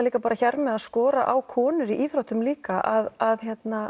líka hér með að skora á konur í íþróttum líka að